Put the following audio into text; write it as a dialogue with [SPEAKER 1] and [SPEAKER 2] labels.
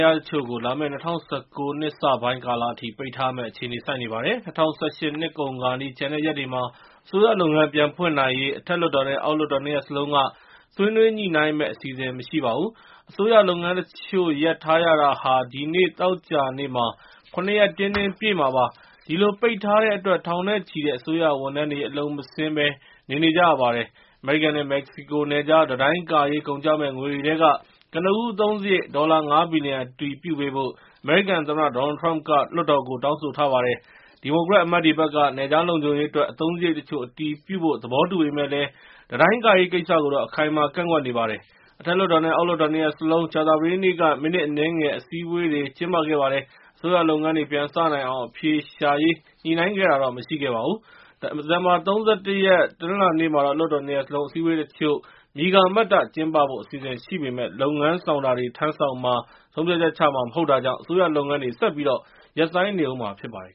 [SPEAKER 1] ရားတချို့ကိုလာမယ့် ၂၀၁၉ နှစ်စ ပိုင်းကာလအထိ ပိတ်ထားရမယ့်အခြေအနေ ဆိုက်နေပါတယ်။ ၂၀၁၈ နှစ်ကုန်ခါနီး ကျန်တဲ့ ရက်တွေမှာ အစိုးရလုပ်ငန်း ပြန်ဖွင့်နိုင်ရေး အထက်လွှတ်တော်နဲ့ အောက်လွှတ်တော်နှစ်ရပ်စလုံးက ဆွေးနွေးညှိ့နိုင်းမယ့် အစီအစဉ် မရှိပါဘူး။ အစိုးရလုပ်ငန်းတချို့ရပ်ထားရတာဟာ ဒီနေ့ သောကြာနေ့မှာ ရ ရက် တင်းတင်းပြည့်မှာပါ။ ဒီလို ပိတ်ထားတဲ့အတွက် ထောင်နဲ့ချီတဲ့ အစိုးရဝန်ထမ်းတွေ အလုပ်မဆင်းဘဲ နေနေကြရပါတယ်။ အမေရိကန်နဲ့ မက္ကဆီကိုနယ်ခြား တံတိုင်းကာရေး ကုန်ကျမယ့် ငွေတွေထဲက ကနဦး အသုံးစရိတ် ဒေါ်လာ ၅ ဘီလျံ အတည်ပြုပေးဖို့ အမေရိကန်သမ္မတ Donald Trump က လွှတ်တော်ကို တောင်းဆိုထားပါတယ်။ ဒီမိုကရက်အမတ်တွေဘက်က နယ်ခြားလုံခြုံရေးအတွက် အသုံးစရိတ်တချို့ အတည်ပြုဖို့ သဘောတူပေမယ့်လည်း တံတိုင်းကာရေးကိစ္စကို အခိုင်အမာ ကန့်ကွက်နေပါတယ်။ အထက်လွှတ်တော်နဲ့ အောက် လွှတ်တော် နှစ်ရပ်စလုံး ကြာသာပတေးနေ့က မိနစ်အနည်းငယ် အစည်းအဝေးတွေကျင်းပခဲ့ပါတယ်။ အစိုးရလုပ်ငန်းတွေ ပြန်စနိုင်အောင် အဖြေရှာရေး ညှိ့နိုင်းခဲ့တာတော့မရှိပါဘူး။ ဒီဇင်ဘာ ၃၁ ရက်နေ့ တနလာၤနေ့မှာ လွှတ်တော်နှစ်ရပ်စလုံး အစည်းအဝေးတချို့ မြည်ကာမတ္တ ကျင်းပဖို့ အစီအစဉ်ရှိပေမယ့် လုပ်ငန်းဆောင်တာတွေ ထမ်းဆောင်မှာ၊ ဆုံးဖြတ်ချက်ချမှာ မဟုတ်တာကြောင့် အစိုးရလုပ်ငန်းတွေ ဆက်ပြီးရပ်ဆိုင်းနေအုံးမှာဖြစ်ပါတယ်